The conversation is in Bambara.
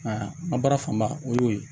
n ka baara fanba o y'o ye